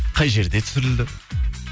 қай жерде түсірілді